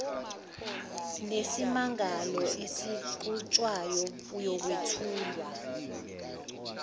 nesimangalo esiqhutshwayo iyokwethulwa